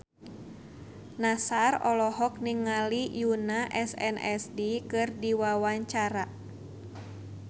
Nassar olohok ningali Yoona SNSD keur diwawancara